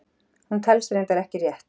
Hún telst reyndar ekki rétt!